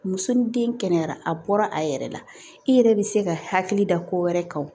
Muso ni den kɛnɛyara a bɔra a yɛrɛ la i yɛrɛ bɛ se ka hakili da ko wɛrɛ kan